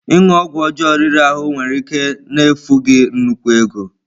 Ịṅụ ọgwụ ọjọọ riri ahụ nwere ike na-efu gị nnukwu ego.